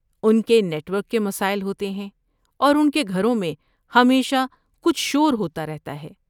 ان کے network کے مسائل ہوتے ہیں اور ان کے گھروں میں ہمیشہ کچھ شور ہوتا رہتا ہے۔